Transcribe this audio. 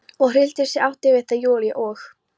og hryllti sig, átti við þær Júlíu og